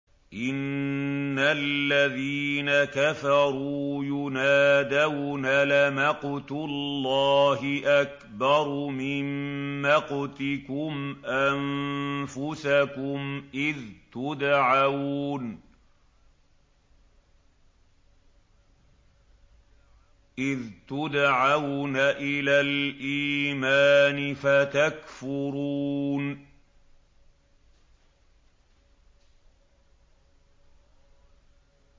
إِنَّ الَّذِينَ كَفَرُوا يُنَادَوْنَ لَمَقْتُ اللَّهِ أَكْبَرُ مِن مَّقْتِكُمْ أَنفُسَكُمْ إِذْ تُدْعَوْنَ إِلَى الْإِيمَانِ فَتَكْفُرُونَ